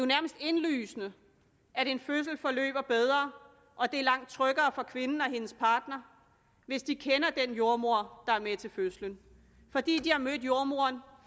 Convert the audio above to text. nærmest indlysende at en fødsel forløber bedre og at det er langt tryggere for kvinden og hendes partner hvis de kender den jordemoder der er med til fødslen fordi de har mødt jordemoderen